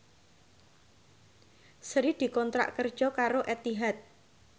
Sri dikontrak kerja karo Etihad